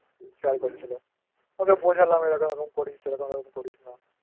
আমাকে Share করছিল ওকে বোঝালাম এরম এরম করিস সেরকম করিস না বুঝতে পারছিনা